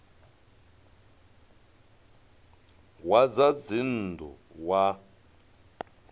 wa zwa dzinn ḓu wa